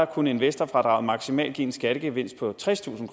kunne investorfradraget maksimalt give en skattegevinst på tredstusind